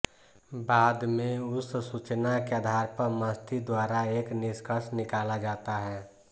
बाद मे उस सूचना के आधार पर मस्तिष्क द्वारा एक निष्कर्ष निकाला जाता है